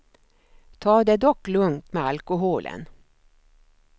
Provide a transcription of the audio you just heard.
Ta det dock lugnt med alkoholen.